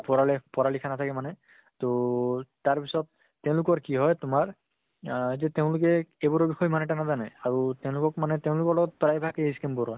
পঢ়া লে পঢ়া লিখা নাথাকে মানে, ত তাৰ পিছত তেওঁলোকৰ কি হয় তোমাৰ আহ যে তেওঁলোকে এইবোৰৰ বিষয়ে ইমান এটা নাজানে। আৰু তেওঁলোকক মানে তেওঁলোকৰ লগত প্ৰায় ভাগে scam কৰে।